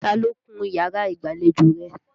Ta ló kun yàrá ìgbàlejò rẹ?